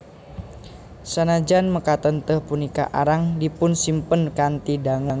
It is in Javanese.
Sanajan mekaten tèh punika arang dipunsimpen kanthi dangu